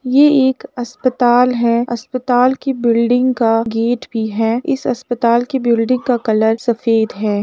ये एक अस्पताल है। अस्पताल की बिल्डिंग का गेट भी है। इस अस्पताल की बिल्डिंग का कलर सफेद है।